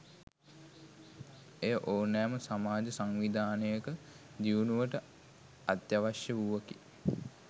එය ඕනෑම සමාජ සංවිධානයක දියුණුවට අත්‍යාවශ්‍ය වූවකි.